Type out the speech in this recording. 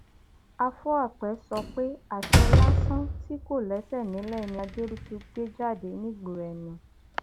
afúàpẹ sọ pé àṣẹ lásán tí kò lẹsẹ nílẹ ni adébútú gbé jáde nígboro ẹnu